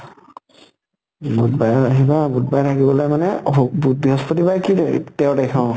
বুধবাৰে আহিবা, বুধবাৰে থাকি পেলে মানে অহ বুধ বৄহ্স্প্তি বাৰে কেই তাৰিখ তেৰ তাৰিখ অ